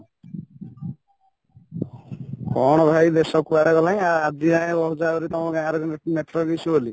କ'ଣ କରିବା ଦେଶ କୁଆଡେ ଗଲାଣି ଆଜି ଯାଏଁ କହୁଚ ଆହୁରି ତମ ଗାଁ ରେ network issue ବୋଲି